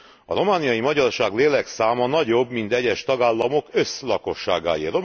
A romániai magyarság lélekszáma nagyobb, mint egyes tagállamok összlakosságáé.